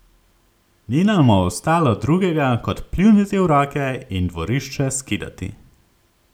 Ni nama ostalo drugega kot pljuniti v roke in dvorišče skidati.